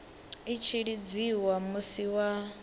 i tshi lidziwa musi wa